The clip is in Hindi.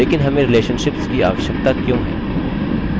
लेकिन हमें relationships की आवश्यकता क्यों है